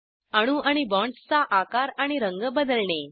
अणू आणि बॉण्ड्सचा आकार आणि रंग बदलणे